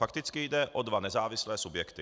Fakticky jde o dva nezávislé subjekty.